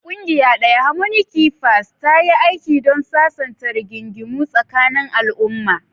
Ƙungiya ɗaya, "Harmony Keepers," ta yi aiki don sasanta rigingimu tsakanin al'umma.